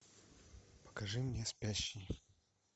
покажи мне спящий